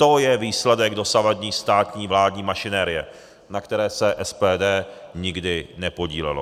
To je výsledek dosavadní státní vládní mašinérie, na které se SPD nikdy nepodílelo.